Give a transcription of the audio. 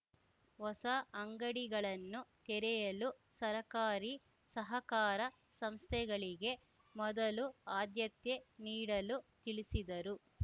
ಹೊಸ ಅಂಗಡಿಗಳನ್ನು ತೆರೆಯಲು ಸರಕಾರಿ ಸಹಕಾರ ಸಂಸ್ಥೆಗಳಿಗೆ ಮೊದಲು ಆದ್ಯತೆ ನೀಡಲು ತಿಳಿಸಿದರು